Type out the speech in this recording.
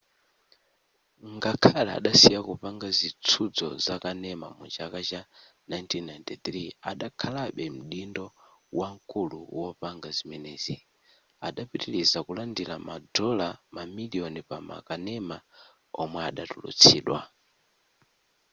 ngakhale adasiya kupanga zitsuzo zakanema mu chaka cha 1993 adakhalabe mdindo wamkulu wopanga zimenezi adapitiliza kulandira madola mamiliyoni pa makanema omwe atulutsidwa